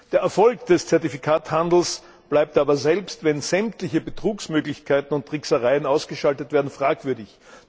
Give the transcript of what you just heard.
Der Erfolg des Zertifikatehandels bleibt aber, selbst wenn sämtliche Betrugsmöglichkeiten und Tricksereien ausgeschaltet werden, fragwürdig.